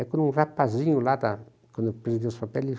Aí quando um rapazinho lá da quando pediu os papéis,